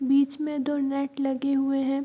बीच में दो नट लगे हुए है।